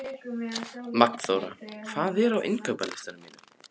Magnþóra, hvað er á innkaupalistanum mínum?